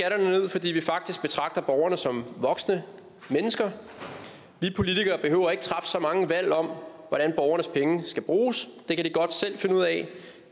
fordi vi faktisk betragter borgerne som voksne mennesker vi politikere behøver ikke træffe så mange valg om hvordan borgernes penge skal bruges det kan de godt selv finde ud af